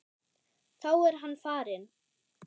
Þá er hann farinn.